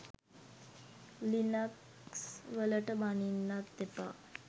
Linux වලට බනින්නත් එපා.